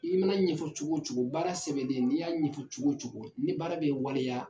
I mana ɲɛfɔ cogo cogo baara sɛbɛnnen n'i y'a ɲɛfɔ cogo cogo ni baara bɛ waleya